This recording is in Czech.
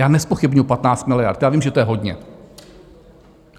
Já nezpochybňuji 15 miliard, já vím, že to je hodně.